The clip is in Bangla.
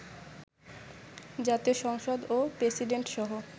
জাতীয় সংসদ ও প্রেসিডেন্টসহ